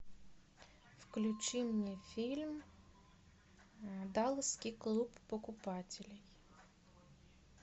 включи мне фильм далласский клуб покупателей